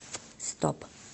стоп